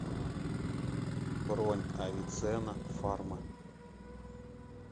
бронь авиценна фарма